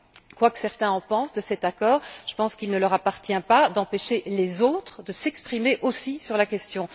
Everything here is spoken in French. Quoi que pensent certains de cet accord, j'estime qu'il ne leur appartient pas d'empêcher les autres de s'exprimer aussi sur la question.